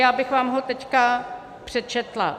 Já bych vám ho teď přečetla.